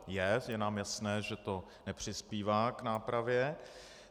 Je nám jasné, že to nepřispívá k nápravě.